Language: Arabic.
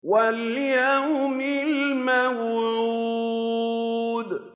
وَالْيَوْمِ الْمَوْعُودِ